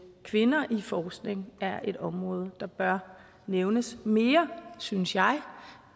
kvinder i forskning er et område der bør nævnes mere synes jeg